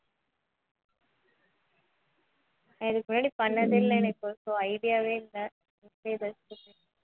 நான் இதுக்கு முன்னாடி பண்ணதே இல்லை எனக்கு so idea வே இல்லை